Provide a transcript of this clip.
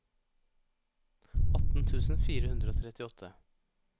atten tusen fire hundre og trettiåtte